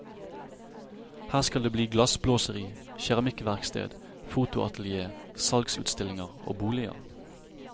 Her skal det bli glassblåseri, keramikkverksted, fotoatelier, salgsutstillinger og boliger.